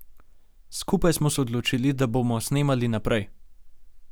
Skupaj smo se odločili, da bomo snemali naprej.